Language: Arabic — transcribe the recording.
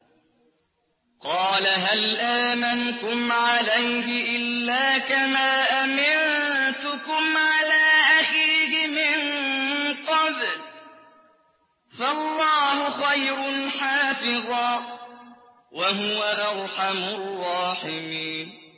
قَالَ هَلْ آمَنُكُمْ عَلَيْهِ إِلَّا كَمَا أَمِنتُكُمْ عَلَىٰ أَخِيهِ مِن قَبْلُ ۖ فَاللَّهُ خَيْرٌ حَافِظًا ۖ وَهُوَ أَرْحَمُ الرَّاحِمِينَ